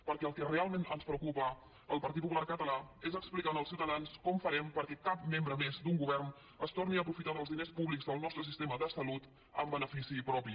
perquè el que realment ens preocupa al partit popular català és explicar als ciutadans com ho farem perquè cap membre més d’un govern es torni a aprofitar dels diners públics del nostre sistema de salut en benefici propi